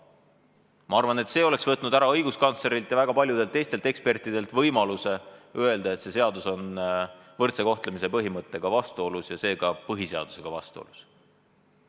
Ma arvan, et see oleks võtnud õiguskantslerilt ja väga paljudelt teistelt ekspertidelt ära võimaluse öelda, et see seadus on võrdse kohtlemise põhimõttega vastuolus ja seega põhiseadusega vastuolus.